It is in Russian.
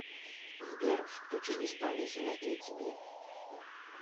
сбер включить исполнителя эйтиби